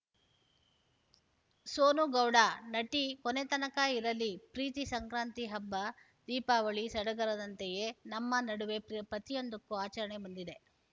ಸೋನು ಗೌಡ ನಟಿ ಕೊನೆತನಕ ಇರಲಿ ಪ್ರೀತಿ ಸಂಕ್ರಾಂತಿ ಹಬ್ಬ ದೀಪಾವಳಿ ಸಡಗರದಂತೆಯೇ ನಮ್ಮ ನಡುವೆ ಪ್ರತಿಯೊಂದಕ್ಕೂ ಆಚರಣೆ ಬಂದಿದೆ